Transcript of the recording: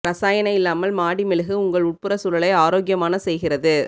இரசாயன இல்லாமல் மாடி மெழுகு உங்கள் உட்புற சூழலை ஆரோக்கியமான செய்கிறது